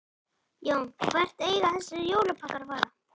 Jón: Hvert eiga þessir jólapakkar að fara?